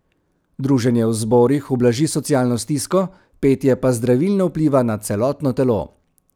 Druženje v zborih ublaži socialno stisko, petje pa zdravilno vpliva na celotno telo.